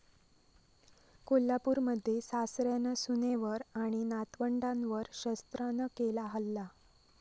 कोल्हापूरमध्ये सासऱ्यानं सुनेवर आणि नातवंडांवर शस्त्रानं केला हल्ला